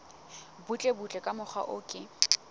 butlebutle ka mokgwa o ke